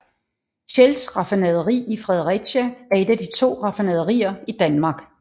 Shells raffinaderi i Fredericia er et af to raffinaderier i Danmark